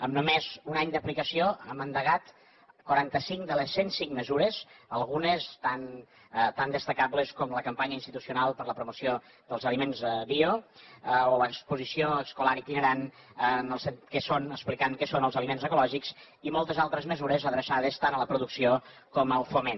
amb només un any d’aplicació hem endegat quarantacinc de les cent cinc mesures algunes tan destacables com la campanya institucional per a la promoció dels aliments bio o l’exposició escolar itinerant que explica què són els aliments ecològics i moltes altres mesures adreçades tant a la producció com al foment